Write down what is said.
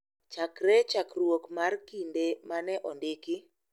Chakre chakruok mar kinde ma ne ondiki, .